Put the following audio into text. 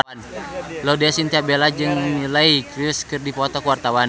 Laudya Chintya Bella jeung Miley Cyrus keur dipoto ku wartawan